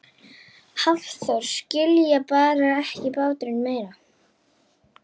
Hafþór: Skilja eftir, bar ekki báturinn meira?